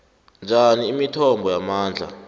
njani imithombo yamandla